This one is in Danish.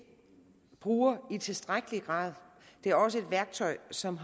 bruger i tilstrækkelig grad det er også et værktøj som